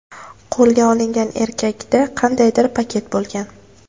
Qo‘lga olingan erkakda qandaydir paket bo‘lgan.